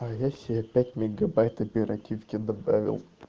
а я себе пять мегабайт оперативки добавил